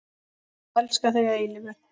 Elska þig að eilífu.